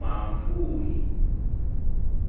manvuuli.